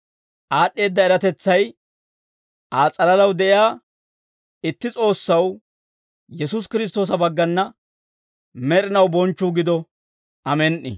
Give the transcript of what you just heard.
Aad'd'eedda eratetsay Aa s'alalaw de'iyaa itti S'oossaw Yesuusi Kiristtoosa baggana med'inaw bonchchuu gido. Amen"i.